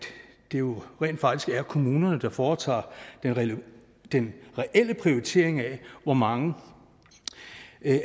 det jo rent faktisk er kommunerne der foretager den reelle den reelle prioritering af hvor mange